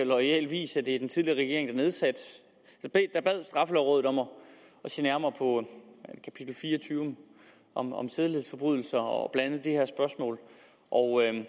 loyal vis at det er den tidligere regering der bad straffelovrådet om at se nærmere på kapitel fire og tyve om om sædelighedsforbrydelser og blandt andet det her spørgsmål og